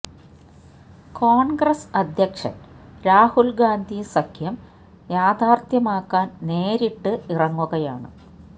കോണ്ഗ്രസ് അധ്യക്ഷന് രാഹുല് ഗാന്ധി സഖ്യം യാഥാര്ത്ഥ്യമാക്കാന് നേരിട്ട് ഇറങ്ങുകയാണ്